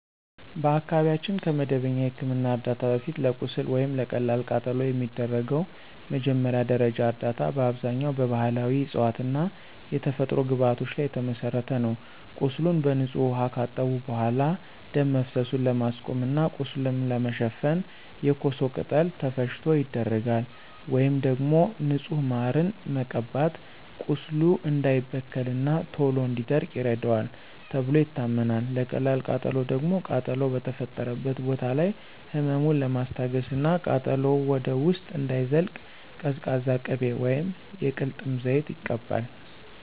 በአካባቢያችን ከመደበኛ የሕክምና ዕርዳታ በፊት፣ ለቁስል ወይም ለቀላል ቃጠሎ የሚደረገው መጀመሪያ ደረጃ እርዳታ በአብዛኛው በባሕላዊ ዕፅዋትና የተፈጥሮ ግብዓቶች ላይ የተመሠረተ ነው። ቁስሉን በንጹህ ውኃ ካጠቡ በኋላ፣ ደም መፍሰሱን ለማስቆም እና ቁስሉን ለመሸፈን የኮሶ ቅጠል ተፈጭቶ ይደረጋል። ወይም ደግሞ ንጹህ ማርን መቀባት ቁስሉ እንዳይበከልና ቶሎ እንዲደርቅ ይረዳዋል ተብሎ ይታመናል። ለቀላል ቃጠሎ ደግሞ ቃጠሎው በተፈጠረበት ቦታ ላይ ህመሙን ለማስታገስና ቃጠሎው ወደ ውስጥ እንዳይዘልቅ ቀዝቃዛ ቅቤ ወይም የቅልጥም ዘይት ይቀባል።